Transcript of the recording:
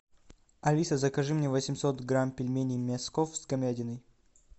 алиса закажи мне восемьсот грамм пельменей мяско с говядиной